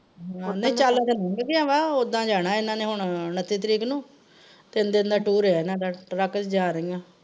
ਤੇ ਖੁੱਲ ਗਿਆ ਵਾ, ਓਹਦਾਂ ਜਾਣਾ ਇਹਨਾਂ ਦਾ ਉਣੱਤੀ ਤਰੀਕ ਨੂੰ, ਤਿੰਨ ਦਿਨ ਦਾ ਟੂਰ ਏ ਇਹਨਾਂ ਦਾ truck ਤੇ ਜਾ ਰਹੀਆਂ।